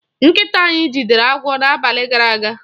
Nkịta anyị jidere agwọ n'abalị gara aga.